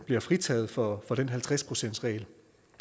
bliver fritaget for den halvtreds procentsregel